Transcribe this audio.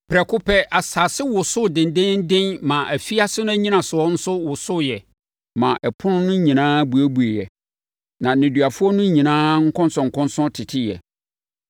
prɛko pɛ, asase wosoo dendeenden maa afiase no nnyinasoɔ nso wosoeɛ maa apono no nyinaa buebueeɛ, na nneduafoɔ no nyinaa nkɔnsɔnkɔnsɔn teteeɛ.